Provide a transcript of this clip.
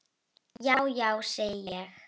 Já, já, segi ég.